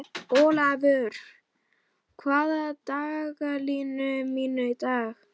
Olavur, hvað er í dagatalinu mínu í dag?